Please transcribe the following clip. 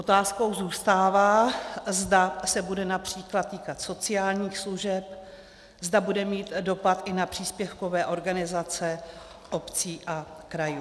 Otázkou zůstává, zda se bude například týkat sociálních služeb, zda bude mít dopad i na příspěvkové organizace obcí a krajů.